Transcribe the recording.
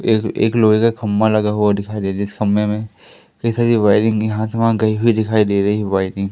एक एक लोहे का खंबा लगा हुआ दिखाई दे रहा जिस खंबे में कई सारी वायरिंग यहां से वहा गई हुई दिखाई दे रही है वायरिंग ।